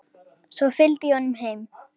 Svo fylgdi ég honum heim.